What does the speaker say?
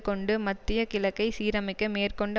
கொண்டு மத்திய கிழக்கை சீரமைக்க மேற்கொண்ட